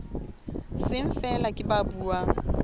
seng feela ke ba buang